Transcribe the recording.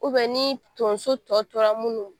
ni tonso tɔ tora munnu